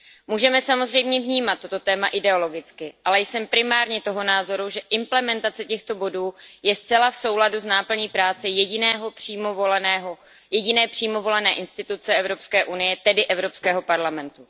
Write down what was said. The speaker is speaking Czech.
Můžeme samozřejmě vnímat tato témata ideologicky, ale jsem primárně toho názoru, že implementace těchto bodů je zcela v souladu s náplní práce jediné přímo volené instituce Evropské unie, tedy Evropského parlamentu.